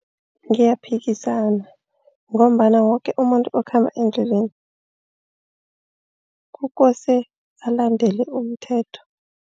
Ngiyaphikisana ngombana woke umuntu okhamba endleleni ukose alandele umthetho.